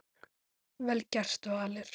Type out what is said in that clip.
Vel gert, Valur.